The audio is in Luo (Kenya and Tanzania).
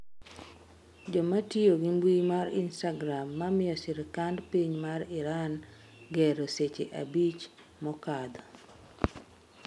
joma tiyo gi mbui mar istagram mamiyo sirikand piny ma Iran gero seche abich mokadho